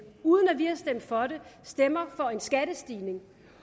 uden at vi har stemt for den stemmer for en skattestigning